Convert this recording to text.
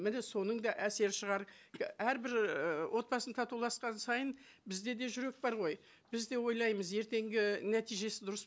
міне соның да әсері шығар і әрбір і отбасын татуласқан сайын бізде де жүрек бар ғой біз де ойлаймыз ертеңгі нәтижесі дұрыс